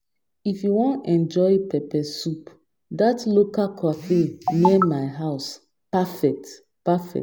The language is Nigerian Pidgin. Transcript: if you wan enjoy peppe soup that local cafe near my house perfect perfect